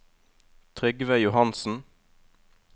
Trygve Johansen